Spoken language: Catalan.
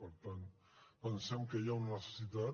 per tant pensem que hi ha una necessitat